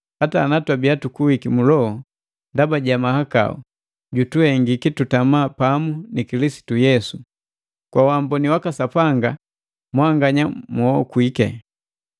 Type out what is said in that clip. hata ana twabiya tukuwiki mu loho ndaba ja mahakau, jutuhengiki tutama pamu ni Kilisitu Yesu. Kwa uamboni waka Sapanga mwanganya muokwi.